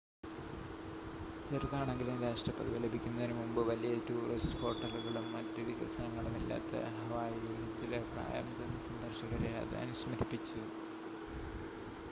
ചെറുതാണെങ്കിലും രാഷ്ട്രപദവി ലഭിക്കുന്നതിനു മുമ്പ് വലിയ ടൂറിസ്റ്റ് ഹോട്ടലുകളും മറ്റു വികസനങ്ങളും ഇല്ലാത്ത ഹവായിയിലെ ചില പ്രായംചെന്ന സന്ദർശകരെ അത് അനുസ്മരിപ്പിച്ചു